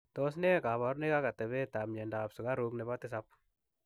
Tos ne kabarunoik ak atepeet ap miondoop sukaruuk nepoo tisaap